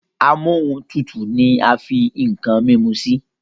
Amóhuntutù ní a fí nkán mímú sí